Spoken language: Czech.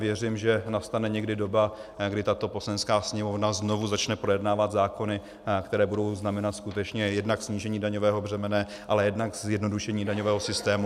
Věřím, že nastane někdy doba, kdy tato Poslanecká sněmovna znovu začne projednávat zákony, které budou znamenat skutečně jednak snížení daňového břemene, ale jednak zjednodušení daňového systému.